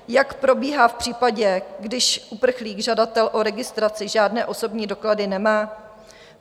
Jak probíhá v případě, když uprchlík, žadatel o registraci žádné osobní doklady nemá?